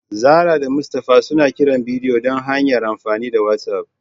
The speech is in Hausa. Zahra da Mustafa suna kiran bidiyo ta hanyar amfani da whatsapp